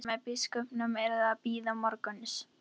Fundur með biskupnum yrði að bíða morguns.